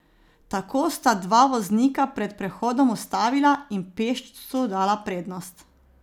Tako sta dva voznika pred prehodom ustavila in pešcu dala prednost.